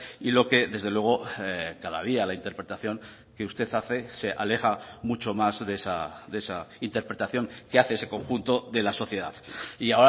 y lo que desde luego cada día la interpretación que usted hace se aleja mucho más de esa interpretación que hace ese conjunto de la sociedad y